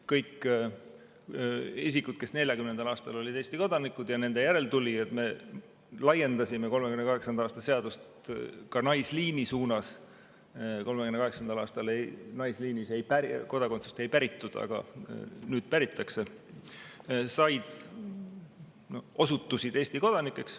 Kõik isikud, kes 1940. aastal olid Eesti kodanikud või nende järeltulijad – me laiendasime 1938. aasta seadust ka naisliini suunas, 1938. aastal naisliinis kodakondsust ei päritud, aga nüüd päritakse –, osutusid Eesti kodanikeks.